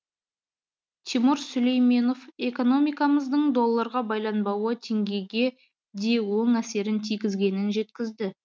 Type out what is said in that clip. тимур сүлейменов экономикамыздың долларға байланбауы теңгеге де оң әсерін тигізгенін жеткізді